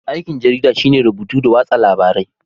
Aikin jarida shine rubutu da watsa labarai